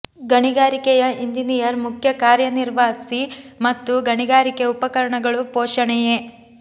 ಗಣಿಗಾರಿಕೆಯ engineer ಮುಖ್ಯ ಕಾರ್ಯ ವಿನ್ಯಾಸ ಮತ್ತು ಗಣಿಗಾರಿಕೆ ಉಪಕರಣಗಳು ಪೋಷಣೆಯೇ